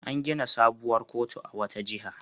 An gina wata sabuwar kotu a wata jiha.